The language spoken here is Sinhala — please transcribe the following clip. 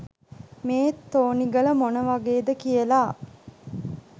මේ තෝනිගල මොන වගේද කියල.